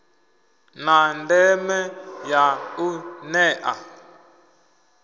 na ndeme ya u nea